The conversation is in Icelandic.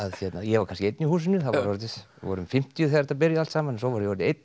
ég var kannski einn í húsinu við vorum fimmtíu þegar þetta byrjaði allt saman svo var ég orðinn einn